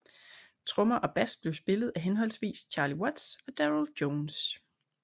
Trommer og bass blev spillet af henholdsvis Charlie Watts og Darryl Jones